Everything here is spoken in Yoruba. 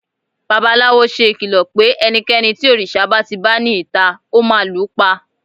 babalawo se ìkìlọ pe ẹnikẹni tí òrìṣà ba ti ba ni ita, o ma lu pa